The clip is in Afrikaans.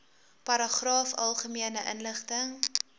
paragraaf algemene inligting